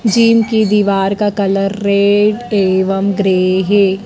Gym की दीवार का कलर रेड एवं ग्रे है।